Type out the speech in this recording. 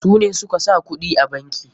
Su ne suka sa kuɗin a banki.